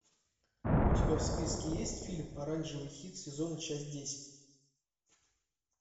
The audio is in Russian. у тебя в списке есть фильм оранжевый хит сезона часть десять